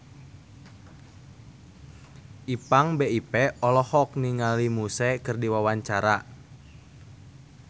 Ipank BIP olohok ningali Muse keur diwawancara